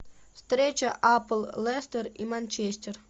встреча апл лестер и манчестер